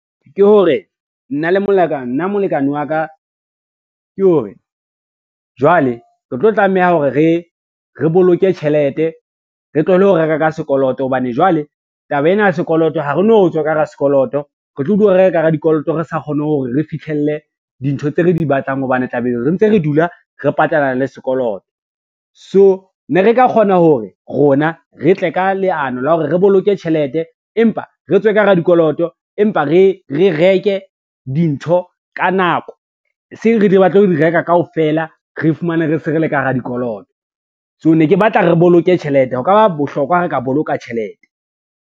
Ke hore nna molekane wa ka ke hore jwale, re tlo tlameha hore re boloke tjhelete, re tlohele ho reka ka sekoloto hobane jwale taba ena ya sekoloto ha re no tswa ka hara sekoloto, retlo dula re ka hara dikoloto re sa kgone hore re fihlelle dintho tse re di batlang hobane tla be re ntse re dula re patala le sekoloto. So ne re ka kgona hore rona re tle ka leano la hore re boloke tjhelete empa, re tswe ka hara dikoloto, empa re reke dintho ka nako, e seng re di batle ho di reka kaofela re fumane re se re le ka hara dikoloto. So, ne ke batla re boloke tjhelete, ho ka ba bohlokwa ha re ka boloka tjhelete.